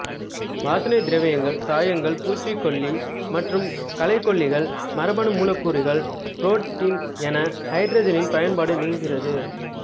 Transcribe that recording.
வாசனைத் திரவியங்கள் சாயங்கள் பூச்சிக்கொல்லி மற்றும் களைக்கொல்லிகள் மரபணு மூலக்கூறுகள் புரோட்டீன் என ஹைட்ரஜனின் பயன்பாடு நீளுகிறது